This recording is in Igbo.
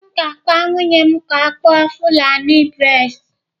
M ga-agwa nwunye m ka ọ kpụọ fulani braids.